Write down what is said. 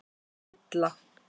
Villa